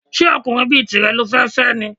Ṣé ọkùnrin bí tìrẹ lo fẹ́ fẹ́ ni?